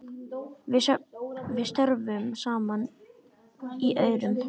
Við störfum saman í Aurum.